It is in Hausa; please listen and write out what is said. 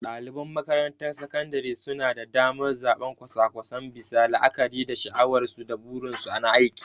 Daliban makarantar sakandare suna da damar zabar kwasa-kwasan bisa la'akari da sha'awarsu da burinsu na aiki.